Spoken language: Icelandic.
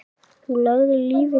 Þú lagðir lífið þannig upp.